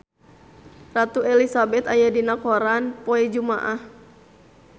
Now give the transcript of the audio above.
Ratu Elizabeth aya dina koran poe Jumaah